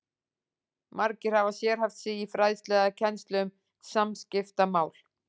Margir hafa sérhæft sig í fræðslu eða kennslu um samskiptamál.